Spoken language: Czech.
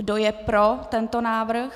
Kdo je pro tento návrh?